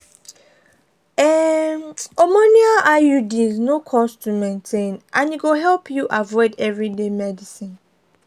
um hormonal iuds no cost to maintain and e go help you avoid everyday medicines.